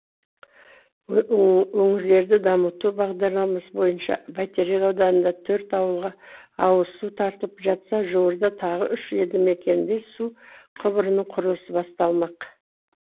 өңірлерді дамыту бағдарламасы бойынша бәйтерек ауданында төрт ауылға ауызсу тартылып жатса жуырда тағы үш елді мекенде су құбырының құрылысы басталмақ